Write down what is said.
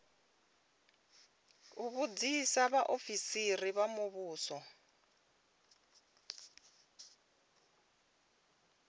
u vhudzisa vhaofisiri vha muvhuso